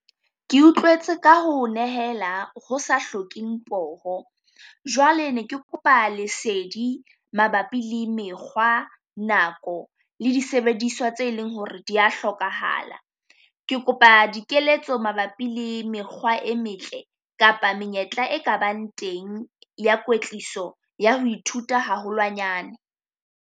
Ke utlwetse ka ho nehela ho sa hlokeng poho. Jwale ne ke kopa lesedi mabapi le mekgwa, nako le disebediswa tse e leng ho re di a hlokahala. Ke kopa dikeletso mabapi le mekgwa e metle kapa menyetla e ka bang teng ya kwetliso ya ho ithuta haholwanyane.